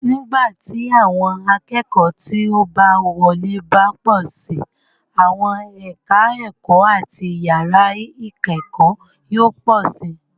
Nígbà tí àwọn akẹ́kọ̀ọ́ tí ó bá wọlé bá pọ̀ síi, àwọn ẹ̀ka ẹ̀kọ́ àti yàrá ìkẹ́kọ̀ọ́ yóò pọ̀ síi.